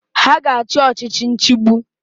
Ha ga-achị ọchichi nchigbu.